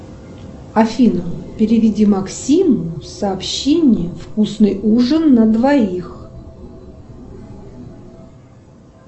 афина переведи максиму сообщение вкусный ужин на двоих